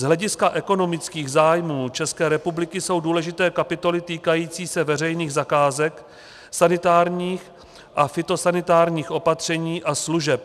Z hlediska ekonomických zájmů České republiky jsou důležité kapitoly týkající se veřejných zakázek, sanitárních a fytosanitárních opatření a služeb.